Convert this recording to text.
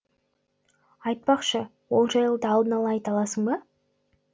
айтпақшы ол жайлы да алдын ала айта аласың ба